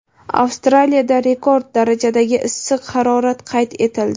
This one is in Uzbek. Avstraliyada rekord darajadagi issiq harorat qayd etildi.